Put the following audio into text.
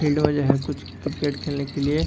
field में जो है कुछ क्रिकेट खेलने के लिए --